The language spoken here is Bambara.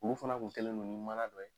Olu fana kun kɛlen don ni mana dɔ ye.